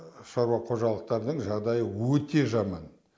шаруа қожалықтардың жағдайы өте жаман